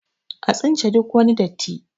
a tsince duk wani datti!